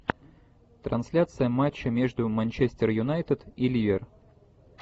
трансляция матча между манчестер юнайтед и ливер